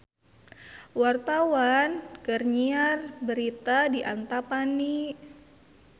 Wartawan keur nyiar berita di Antapani